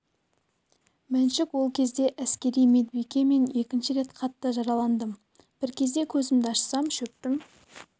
мәншүк ол кезде әскери медбике мен екінші рет қатты жараландым бір кезде көзімді ашсам шөптің